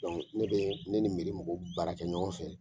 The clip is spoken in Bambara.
Dɔnku ne bɛ ne ni miiri mɔgɔw baara kɛ ɲɔgɔn fɛ.